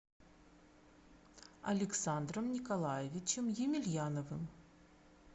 александром николаевичем емельяновым